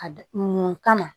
A d mun kama